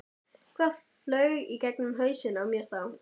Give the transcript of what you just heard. Hvað flaug í gegnum hausinn á mér þá?